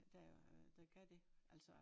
Der jo havde der gav det altså